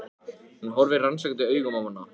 Hún horfir rannsakandi augum á hana.